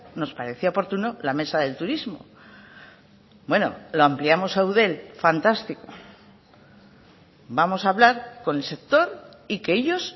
nos parecía oportuno la mesa del turismo bueno lo ampliamos a eudel fantástico vamos a hablar con el sector y que ellos